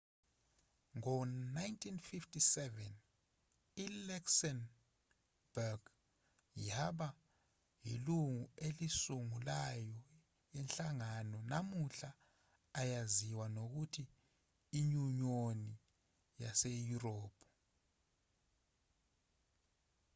ngo-1957 i-luxembourg yaba yilungu elisungulayo lenhlangano namuhla eyaziwa ngokuthi inyunyoni yaseyurophu